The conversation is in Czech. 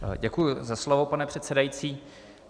Děkuji za slovo, pane předsedající.